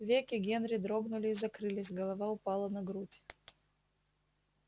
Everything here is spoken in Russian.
веки генри дрогнули и закрылись голова упала на грудь